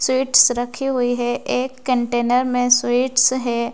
Sweets रखी हुई है एक कंटेनर मे स्वीट्स है।